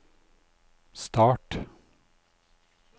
start